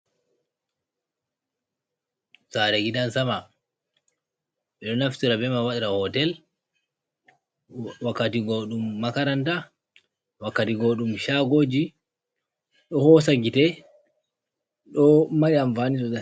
Sare gidan sama, Ɓeɗo naftira be man waɗira hotel wakkati go ɗum makaranta, wakkati go ɗum shagoji ɗo hosagite ɗo mari amfani sosai.